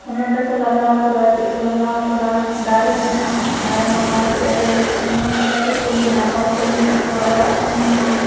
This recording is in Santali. मेको लगा कदाच लगा दारु में मोटरसायकल में होड़ कोमी ना।